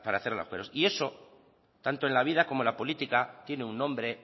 y eso tanto en la vida como en la política tiene un nombre